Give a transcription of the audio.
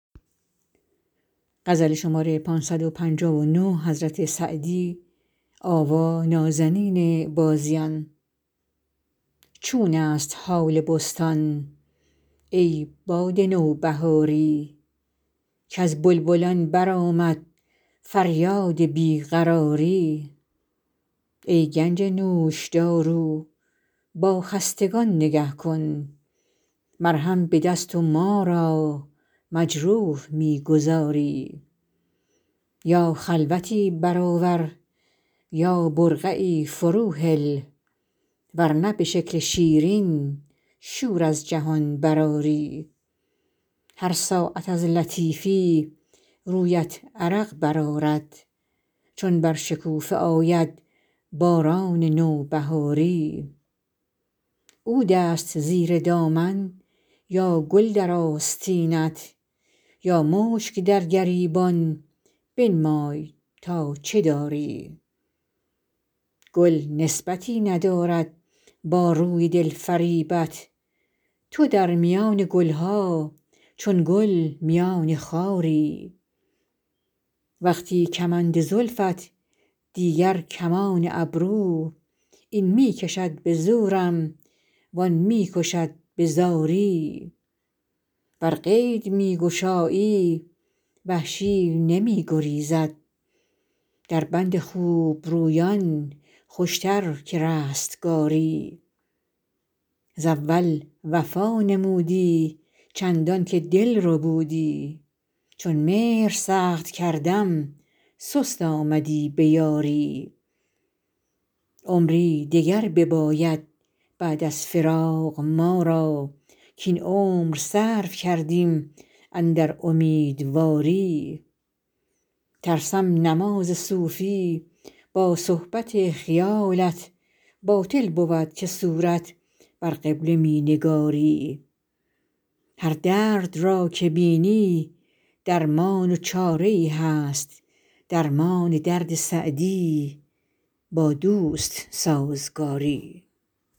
چون است حال بستان ای باد نوبهاری کز بلبلان برآمد فریاد بی قراری ای گنج نوشدارو با خستگان نگه کن مرهم به دست و ما را مجروح می گذاری یا خلوتی برآور یا برقعی فروهل ور نه به شکل شیرین شور از جهان برآری هر ساعت از لطیفی رویت عرق برآرد چون بر شکوفه آید باران نوبهاری عود است زیر دامن یا گل در آستینت یا مشک در گریبان بنمای تا چه داری گل نسبتی ندارد با روی دل فریبت تو در میان گل ها چون گل میان خاری وقتی کمند زلفت دیگر کمان ابرو این می کشد به زورم وآن می کشد به زاری ور قید می گشایی وحشی نمی گریزد در بند خوبرویان خوشتر که رستگاری ز اول وفا نمودی چندان که دل ربودی چون مهر سخت کردم سست آمدی به یاری عمری دگر بباید بعد از فراق ما را کاین عمر صرف کردیم اندر امیدواری ترسم نماز صوفی با صحبت خیالت باطل بود که صورت بر قبله می نگاری هر درد را که بینی درمان و چاره ای هست درمان درد سعدی با دوست سازگاری